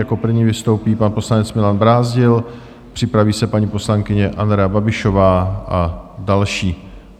Jako první vystoupí pan poslanec Milan Brázdil, připraví se paní poslankyně Andrea Babišová a další.